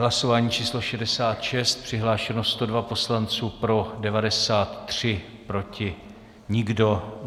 Hlasování číslo 66, přihlášeno 102 poslanců, pro 93, proti nikdo.